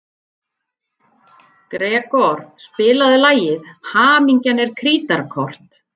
Gregor, spilaðu lagið „Hamingjan er krítarkort“.